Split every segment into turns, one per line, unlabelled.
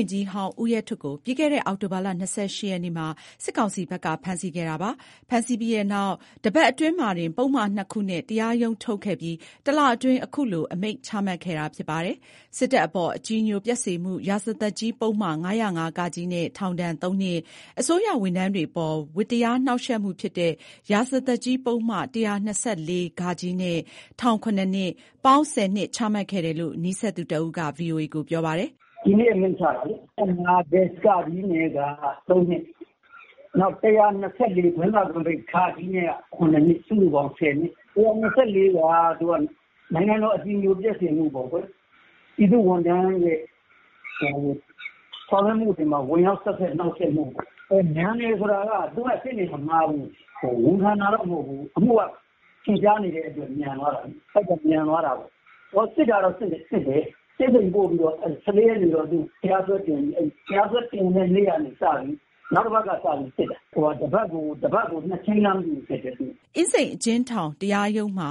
န်ကြီးဟောင်း ဦးရဲထွဋ်ကို ပြီးခဲ့တဲ့ အောက်တိုဘာ ၂၈ရက်နေ့မှာ စစ်ကောင်စီက ဖမ်းဆီးခဲ့တာပါ။ ဖမ်းဆီးပြီးတဲ့နောက် တပါတ်အတွင်းမှာတင် ပုဒ်မ ၂ခုနဲ့ တရားရုံးထုတ်ခဲ့ပြီး တလအတွင်း အခုလို အမိန့်ချမှတ်ခဲ့တာဖြစ်ပါတယ်။ စစ်တပ်အပေါ် အကြည်ညိုပျက်စေမှု ရာဇသတ်ကြီး ပုဒ်မ ၅၀၅(က) နဲ့ ထောင် (၃)နှစ်၊ အစိုးရဝန်ထမ်းတွေအပေါ် ဝတ္တရားနှောင့်ယှက်မှုဖြစ်တဲ့ ရာဇသတ်ကြီး ပုဒ်မ ၁၂၄(ဃ) နဲ့ ထောင် (၇)နှစ်၊ ပေါင်း ၁၀နှစ်ချမှတ်ခဲ့တယ်လို့ နီးစပ်သူတဦးက ပြောပါတယ်
။ “ဒီနေ့အမိန့်ချလိုက်တာလေ ၅၀၅(က) နဲ့က ၃နှစ် နောက် ၁၂၄(ဃ) နဲ့ ခုနှစ်နှစ် စုစုပေါင်း ၁၀နှစ်ချလိုက်တာ။ ၁၂၄(ဃ) က နိုင်ငံတော် အကြည်ညိုပျက်စေမှုပေါ့ကွယ်။ ပြည်သူ့ဝန်ထမ်းဆောင်ရွက်မှုတွေမှာ ဝင်ရောက်ဟန့်တားနှောက်ယှက်မှု ပေါ့ကွယ်။ မြန်တယ်ဆိုတာက သူကရှေ့နေမငှားဘူး။ ဝန်ခံတာတော့မဟုတ်ဘူး အမှုကထင်ရှားတယ်ဆိုပြီးမြန်သွားတာပေါ့။ စစ်တာတော့စစ်တယ်။ သူ့ကို ၁၄ရက်နေ့မှာ တရားစွဲတင်ပြီး နောက်တပါတ်ကနေ စ စစ်တာ။ တပါတ်ကို
၂ချိန်း လားမသိဘူးစစ်တာ။” အင်းစိန်အကျဉ်းထောင် အထူးတရားရုံးမှာ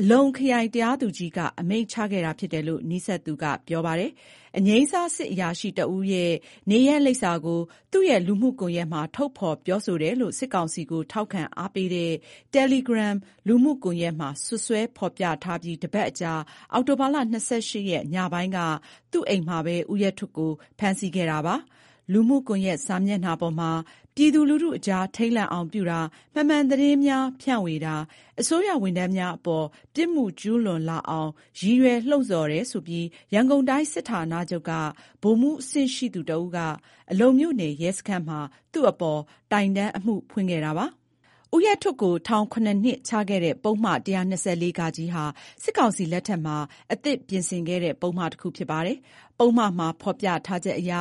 အလုံ ခရိုင်တရားသူကြီးက အမိန့်ချခဲ့တာဖြစ်တယ်လို့နီးစပ်သူကပြောပါတယ်။ အငြိမ်းစား စစ်အရာရှိတဦးရဲ့ အိမ်လိပ်စာကို သူ့ရဲ့လူမှုကွန်ရက်မှာ ထုတ်ဖော်ပြောဆိုတယ်လို့ စစ်ကောင်စီကို ထောက်ခံအားပေးတဲ့ Telegram လူမှု ကွန်ရက်မှာ စွပ်စွဲဖော်ပြထားပြီး တပတ်အကြာ အောက်တိုဘာ ၂၈ရက် ညပိုင်းက သူ့အိမ်မှာဘဲ ဦးရဲထွဋ် ဖမ်းဆီးခံရတာပါ။ လူမှုကွန်ရက်စာမျက်နှာပေါ်မှာ ပြည်သူလူထုအကြား ထိတ်လန့်အောင်ပြုတာ၊ မမှန်သတင်းများ ဖြန့်ဝေတာ၊ အစိုးရဝန်ထမ်းများအပေါ် ပြစ်မှုကျူးလွန်လာအောင် ရည်ရွယ်လှုံ့ဆော်တယ်ဆိုပြီး ရန်ကုန်တိုင်းစစ်ဌာချုပ်က ဗိုလ်မှုးအဆင့်ရှိသူတဦးက အလုံမြို့နယ် ရဲစခန်းမှာ သူ့အပေါ် တိုင်တန်းအမှုဖွင့်ခဲ့တာ ဖြစ်ပါတယ်။ ဦးရဲထွဋ်ကို ထောင် ၇နှစ်ချခဲ့တဲ့ ပုဒ်မ ၁၂၄(ဃ)ဟာ စစ်ကောင်စီလက်ထက်မှာ အသစ်ပြင်ဆင်ခဲ့တဲ့ ပုဒ်မတခုဖြစ်ပါတယ်။ ပုဒ်မမှာ ဖော်ပြထားချက်အရ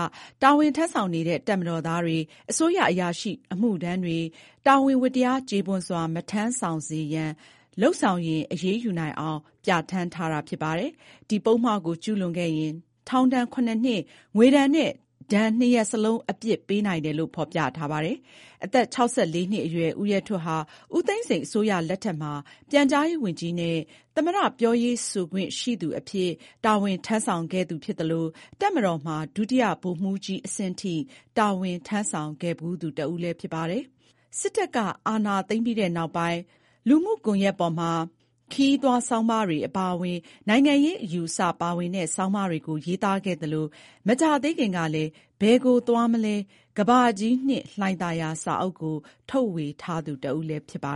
တာဝန်ထမ်းဆောင်နေတဲ့ တပ်မတော်သားတွေ၊ အစိုးရအရာထမ်းအမှုထမ်းတွေ တာဝန်ဝတ္တရား ကျေပွန်စွာ မထမ်းဆောင်စေရန် လုပ်ဆောင်ရင် အရေးယူနိုင်အောင် ပြဌာန်းထားတာဖြစ်ပါတယ်။ ဒီပုဒ်မကို ကျူးလွန်ခဲ့ရင် ထောင်ဒဏ် ၇နှစ်၊ ငွေဒဏ်နဲ့ ဒဏ် ၂ ရပ်စလုံး အပြစ်ပေးနိုင်တယ်လို့ဖော်ပြထားပါတယ်။ အသက် ၆၄ နှစ်အရွယ် ဦးရဲထွဋ် ဟာ ဦးသိန်းစိန်အစိုးရလက်ထက်မှာ ပြန်ကြားရေးဝန်ကြီးနဲ့ သမ္မတ ပြောရေးဆိုခွင့်ရှိသူအဖြစ် တာဝန်ထမ်းဆောင်ခဲ့သူဖြစ်သလို တပ်မတော်မှာ ဒုတိယဗိုလ်မှူးကြီး အဆင့်ထိ တာဝန်ထမ်းဆောင်ခဲ့ဖူးသူတဦးလည်းဖြစ်ပါတယ်။ စစ်တပ်က အာဏာသိမ်းပြီးတဲ့နောက်ပိုင်း သူ့လူမှုကွန်ယက်ပေါ်မှာ ခရီးသွား ဆောင်းပါးတွေ အပါအဝင် လက်ရှိ နိုင်ငံရေးအခြေအနေတွေကို ထင်ဟပ်စေတဲ့ နိုင်ငံရေး ဆောင်းပါးတွေကို ရေးသားခဲ့သလို၊ မကြာ သေးခင်ကလည်း “ဘယ်ကိုသွားမလဲ….ကမ္ဘာကြီးနှင့် လှိုင်သာယာ” စာအုပ်ကို ထုတ်ဝေထားသူတဦး လည်းဖြစ်ပါ